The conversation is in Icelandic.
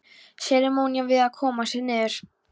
Seremónían við að koma sér niður.